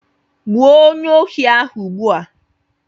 Gbuo onyeohi ahụ ugbu a!